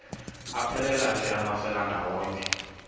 aphelela ke amafelandawonye